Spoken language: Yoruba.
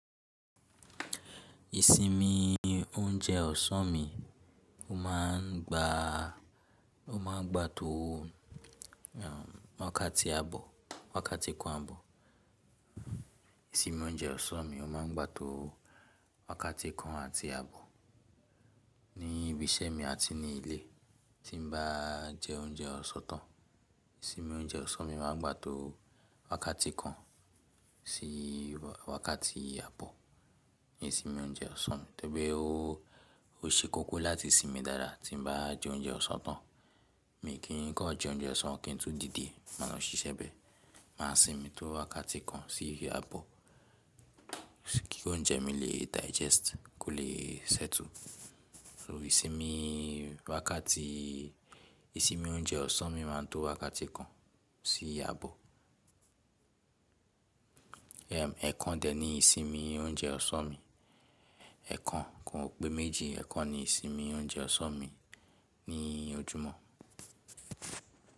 Ìsinmi oúnjẹ ọ̀sán mi, ó máa ń gba, ó máa ń gbà tó wàkàtí àbọ̀, wàkàtí kan àbọ̀. Ìsinmi oúnjẹ ọ̀sán mi ó máa ń gba tó wàkàtí kan àti àbọ̀. Ní ibi iṣẹ́ mi àti ní ilé tí n bá jẹ oúnjẹ ọ̀sán tán, ìsinmi oúnjẹ ọ̀sán mi máa ń gba tó wàkàtí kan sí wàkàtí àbọ̀. Ìsinmi oúnjẹ ọ̀sán mi, torí pé ó, ó ṣe kókó láti sinmi dáadáa tí n bá jẹ oúnjẹ ọ̀sán tán. Mi kì í ko jẹ oúnjẹ ọ̀sán kín n tú dìde, máa lọ ṣiṣẹ́ bẹ́ẹ̀. Máa sinmi tó wàkàtí kan sí àbọ̀ kí oúnjẹ mi lè digest, kó lè settle. So ìsinmi wàkàtí, ìsinmi oúnjẹ ọ̀sán mi máa ń to wàkàtí kan sí àbọ̀. Ẹ̀kan dè ní ìsinmi oúnjẹ ọ̀sán mi. Ẹ̀kan kò pé méjì, ẹ̀kan ni ìsinmi oúnjẹ ọ̀sán mi ní ojúmọ́.